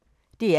DR P1